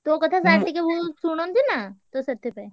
ତୋ କଥା sir ଟିକେ ବହୁତ୍ ଶୁଣନ୍ତି ନାଁ ତ ସେଥିପାଇଁ।